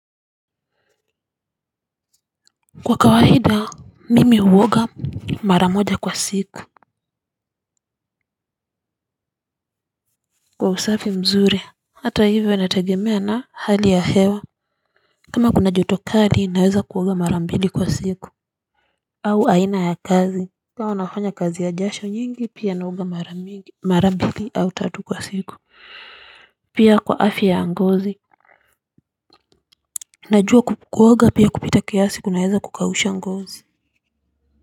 Kwa kawaida mimi huoga mara moja kwa siku kwa usafi mzuri hata hivyo nategemea na hali ya hewa kama kuna joto kali naweza kuoga mara mbili kwa siku au aina ya kazi kama unafanya kazi ya jasho nyingi pia naoga mara mbili au tatu kwa siku pia kwa afya ya ngozi najua kuoga pia kupita kiasi kunaweza kukahusha ngozi.